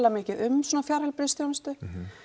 mikið um svona fjarheilbrigðisþjónustu